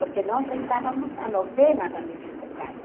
Porque nós rezávamos a novena da Virgem do Carmo.